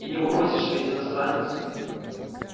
и не попросишь ведь иностранец